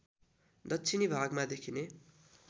दक्षिणी भागमा देखिने